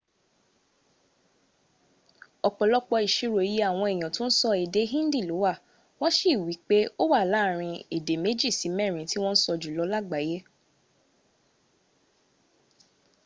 ọ̀pọ̀lọpọ̀ ìsirò iye àwọn èèyàn tó ń sọ èdè hindi ló wà. wọ́n sí i wípé ó wà láàrin èdè méjì sí mẹ́rin tí wọ́n ń sọ jùlọ lágbàláaye